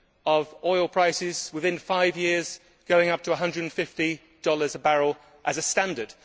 of oil prices within five years going up to USD 150 a barrel as a standard.